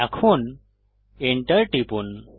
এখন enter টিপুন